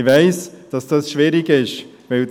Ich weiss, dass dies schwierig ist.